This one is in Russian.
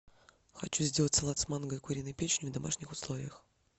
хочу сделать салат с манго и куриной печенью в домашних условиях